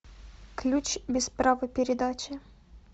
ключ без права передачи